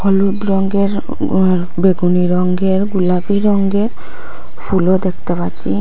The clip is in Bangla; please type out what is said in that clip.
হলুদ রঙের বেগুনি রঙের গোলাপি রঙ্গের ফুলও দেখতে পাচ্ছি।